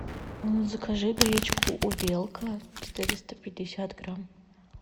закажи гречку увелка четыреста пятьдесят грамм